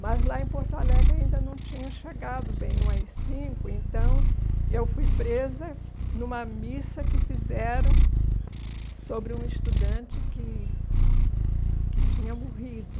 Mas lá em Porto Alegre ainda não tinha chegado bem o á i cinco, então eu fui presa numa missa que fizeram sobre um estudante que que tinha morrido.